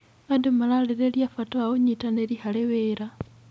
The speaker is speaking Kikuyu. Andũ mararĩrĩria bata wa ũnyitanĩri harĩ wĩra.